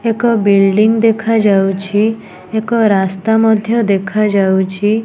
ଏକ ବିଲ୍ଡିଙ୍ଗ ଦେଖାଯାଉଛି ଏକ ରାସ୍ତା ମଧ୍ୟ ଦେଖାଯାଉଛି।